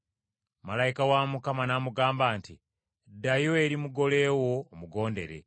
Malayika wa Mukama n’amugamba nti, “Ddayo eri mugole wo omugondere.”